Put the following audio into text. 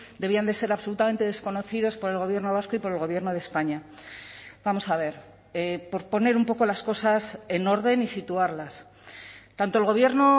debían de ser absolutamente desconocidos por el gobierno vasco y por el gobierno de españa vamos a ver por poner un poco las cosas en orden y situarlas tanto el gobierno